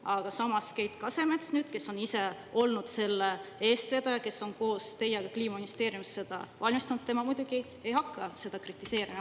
Aga samas, Keit Kasemets, kes on ise olnud selle eestvedaja, kes on koos teiega Kliimaministeeriumis seda ette valmistanud, tema muidugi ei hakka seda kritiseerima.